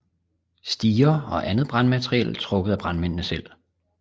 Stiger og andet brandmateriel trukket af brandmændene selv